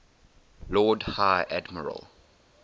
lord high admiral